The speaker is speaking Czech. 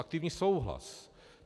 Aktivní souhlas.